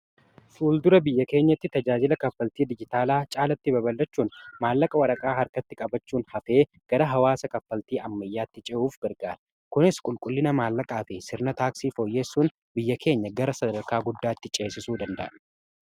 Fuuldura biyya keenyatti tajaajila kaffaltii dijitaalaa caalatti babalachuun maallaqa waraqaa harkatti qabachuun hafee gara hawaasa kaffaltii ammayyaatti ce'uuf gargaara. kunis qulqullina maallaqaa fi sirna taaksii fooyyeessuun biyya keenya gara sadarkaa guddaatti ceessisu danda'a.